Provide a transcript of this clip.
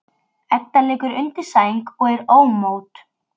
Edda liggur undir sæng og er ómótt.